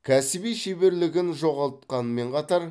кәсіби шеберлігін жоғалтқанмен қатар